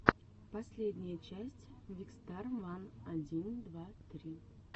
последняя часть викстар ван один два три